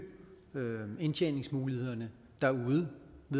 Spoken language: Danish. indtjeningsmulighederne derude